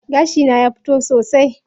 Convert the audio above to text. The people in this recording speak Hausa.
Gashi na ya fito sosai.